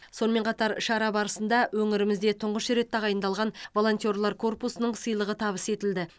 сонымен қатар шара барысында өңірімізде тұңғыш рет тағайындалған волонтерлар корпусының сыйлығы табыс етілді